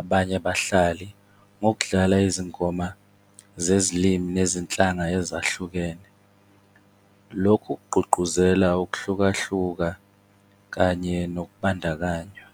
abanye abahlali ngokudlala izinkomba zezilimi nezinhlanga ezahlukene. Lokhu kugqugquzela ukuhlukahluka kanye nokubandakanya.